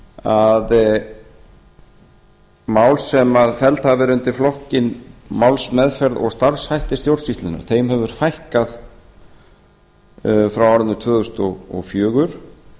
að málum sem felld hafa verið undir flokkinn málsmeðferð og starfshættir stjórnsýslunnar hefur fækkað frá árinu tvö þúsund og fjögur